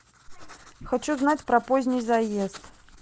хочу знать про поздний заезд